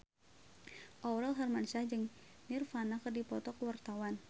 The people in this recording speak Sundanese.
Aurel Hermansyah jeung Nirvana keur dipoto ku wartawan